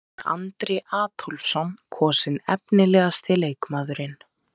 Þá var Andri Adolphsson kosinn efnilegasti leikmaðurinn.